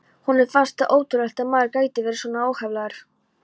Honum fannst það ótrúlegt að maður gæti verið svona óheflaður.